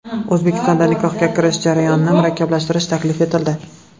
O‘zbekistonda nikohga kirish jarayonini murakkablashtirish taklif etildi.